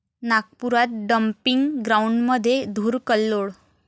नागपुरात डम्पिंग ग्राऊंडमध्ये धुर'कल्लोळ'